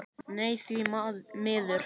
Nei því miður.